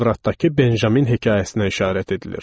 Tövratdakı Benjamin hekayəsinə işarət edilir.